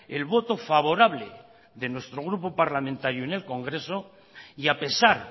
el voto favorable de nuestro grupo parlamentario en el congreso y a pesar